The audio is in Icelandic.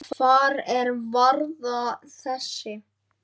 Hvar er varða þessi?